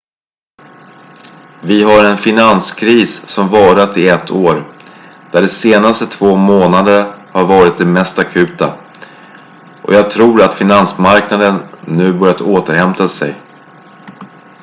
vi har en finanskris som har varat i ett år där de senaste två månaderna har varit de mest akuta och jag tror att finansmarknaderna nu börjar återhämta sig